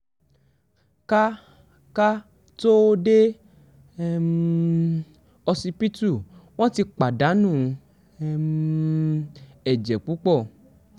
ká ká tóó dé um ọsibítù wọn ti pàdánù um ẹ̀jẹ̀ púpọ̀